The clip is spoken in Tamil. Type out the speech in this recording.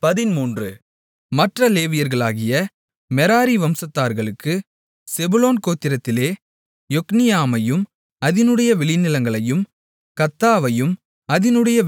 மற்ற லேவியர்களாகிய மெராரி வம்சங்களுக்குச் செபுலோன் கோத்திரத்திலே யொக்னியாமையும் அதினுடைய வெளிநிலங்களையும் கர்தாவையும் அதினுடைய வெளிநிலங்களையும்